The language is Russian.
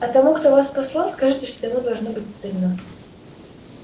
а тому кто вас послал скажите что ему должно быть стыдно